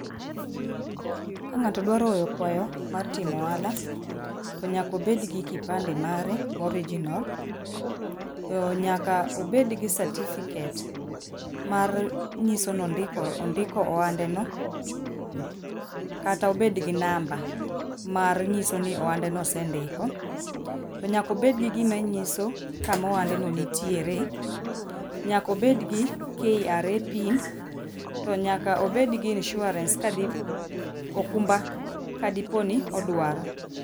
ka ng'ato dwaro kwayo mar timo ohala to nyakobed gi kipande mare mo original to nyaka obed gi certificate mar nyiso ni ondiko ondiko ohande no, kata obed gi number mar nyiso ni ohande no osendiko, to nyakobed gi gima nyiso kama ohande no nitiere, nyaka obed gi kra pin, to nyaka obed gi insurance kadi okumba kadiponi odwaro.